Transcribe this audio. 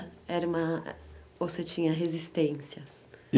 Era uma ou você tinha resistências?